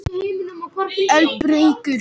Elínbergur, hvað er í dagatalinu í dag?